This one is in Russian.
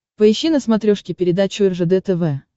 поищи на смотрешке передачу ржд тв